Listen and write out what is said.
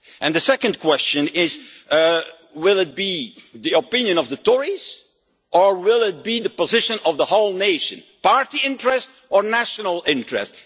The second question is will it be the opinion of the Tories or the position of the whole nation? Party interest or national interest?